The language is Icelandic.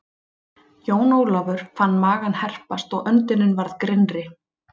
Jón Ólafur fann magann herpast og öndunin varð grynnri.